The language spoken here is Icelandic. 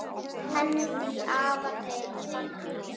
Henni því afar vel fagnað.